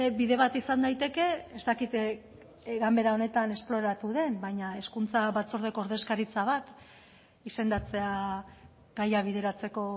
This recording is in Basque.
bide bat izan daiteke ez dakit ganbera honetan esploratu den baina hezkuntza batzordeko ordezkaritza bat izendatzea gaia bideratzeko